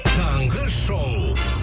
таңғы шоу